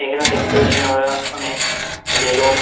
এখানে দেখতে পারছি আমরা অনেক বেলুন ।